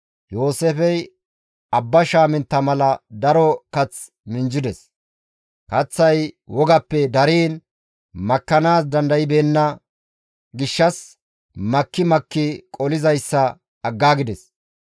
Yooseefey abba shaamintta mala daro kath minjjides; kaththay wogappe dariin makkanaas dandaybeenna gishshas makki makki qolizayssa aggaagides.